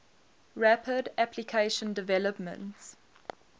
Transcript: rapid application development